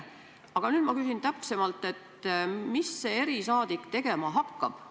Aga nüüd ma küsin täpsemalt, mida see erisaadik tegema hakkab.